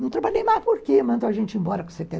Não trabalhei mais porque mandaram a gente embora com setenta